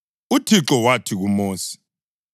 UThixo wathi kuMosi,